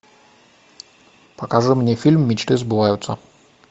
покажи мне фильм мечты сбываются